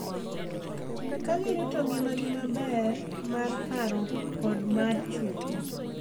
Ka girito ngimagi maber mar paro kod mar chuny .